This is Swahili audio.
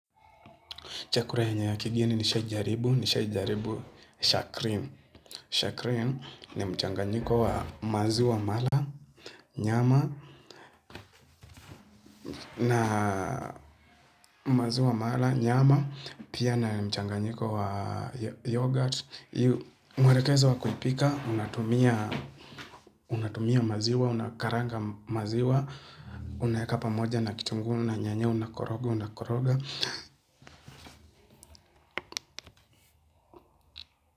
Chakula yenye ya kigeni nishawahi jaribu, nishawahi jaribu ni shakrim. Shakrim ni mchanganyiko wa maziwa mala, nyama, na maziwa mala, nyama, pia na ni mchanganyiko wa yoghurt. Mwelekezo wa kuipika, unatumia maziwa, unakaranga maziwa, unayaweka pamoja na kitunguu na nyanya, unakoroga, unakoroga.